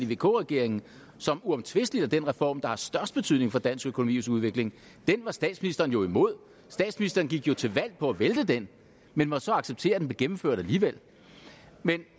i vk regeringen som uomtvistelig er den reform der har størst betydning for dansk økonomis udvikling den var statsministeren jo imod statsministeren gik jo til valg på at vælte den men måtte så acceptere at den blev gennemført alligevel